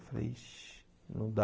Eu falei, ixi, não dá.